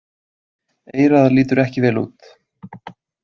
Eyrað lítur ekki vel út.